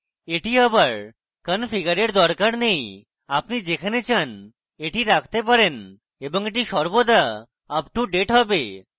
এটি আবার configure দরকার নেই আপনি যেখানে চান এটি রাখতে পারেন এবং এটি সর্বদা up to date হবে